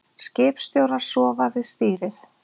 Skipstjórar sofna við stýrið